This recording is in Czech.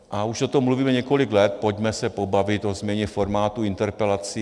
A už o tom mluvíme několik let: pojďme se pobavit o změně formátu interpelací.